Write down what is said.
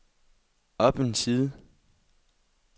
op en side